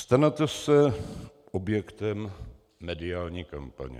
Stanete se objektem mediální kampaně.